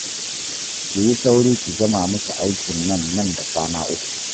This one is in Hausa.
Ki yi sauri ki gama musu aikin nan nan da kwana uku